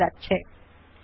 এখন ওক বাটনে ক্লিক করুন